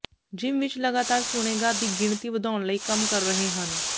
gym ਵਿੱਚ ਲਗਾਤਾਰ ਸੁਣੇਗਾ ਦੀ ਗਿਣਤੀ ਵਧਾਉਣ ਲਈ ਕੰਮ ਕਰ ਰਹੇ ਹਨ